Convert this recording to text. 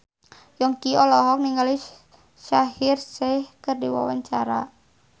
Yongki olohok ningali Shaheer Sheikh keur diwawancara